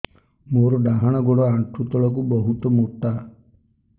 ମୋର ଡାହାଣ ଗୋଡ ଆଣ୍ଠୁ ତଳୁକୁ ବହୁତ ମୋଟା